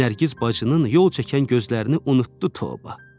Nərgiz bacının yol çəkən gözlərini unutdu Toba.